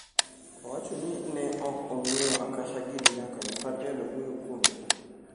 Owacho ni ne ok ong'eyo Akasha giri nyaka ne Patel owuoyo kuomgi.